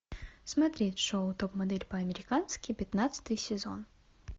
смотреть шоу топ модель по американски пятнадцатый сезон